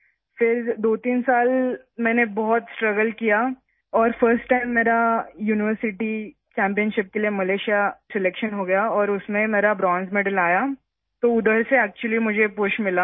پھر میں نے 23 سال تک بہت جدوجہد کی اور پہلی بار میں ملیشیا میں یونیورسٹی چیمپئن شپ کے لیے منتخب ہوئی اور اس میں مجھے کانسے کا تمغہ ملا، تو مجھے وہاں سے ایک پُش ملا